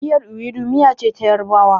Miyar Iwidu miya ce ta yarabawa